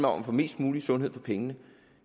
om at få mest mulig sundhed for pengene